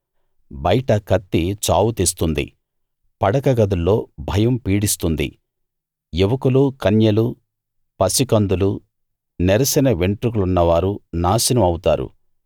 బయట కత్తి చావు తెస్తుంది పడక గదుల్లో భయం పీడిస్తుంది యువకులూ కన్యలూ పసికందులూ నెరిసిన వెంట్రుకలున్నవారూ నాశనం అవుతారు